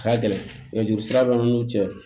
A ka gɛlɛn nɛgɛjurusira b'an n'u cɛ